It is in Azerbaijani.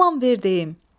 Aman ver deyim.